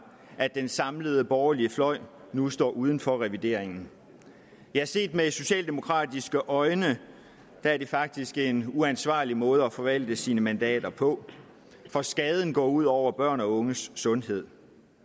at den samlede borgerlige fløj nu står uden for revideringen set med socialdemokratiske øjne er det faktisk en uansvarlig måde at forvalte sine mandater på for skaderne går ud over børns og unges sundhed